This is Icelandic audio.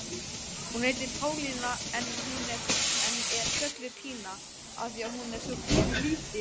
Hún heitir Pálína en er kölluð Pína af því að hún er svo pínu lítil.